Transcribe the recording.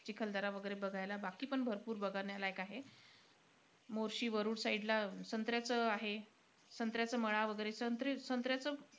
चिखलदरा वैगैरे बघायला. बाकीपण भरपूर बघण्यालायक आहे. मोर्शी-वरुड side ला संत्र्याचं आहे. संत्र्याचं मळा वैगैरे. सं संत्र्याचं,